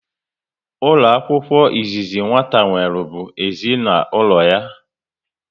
Ụlọ akwụkwọ izizi nwata nwere bụ ezinaụlọ ya